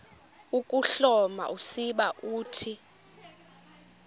ukuhloma usiba uthi